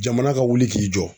Jamana ka wuli k'i jɔ.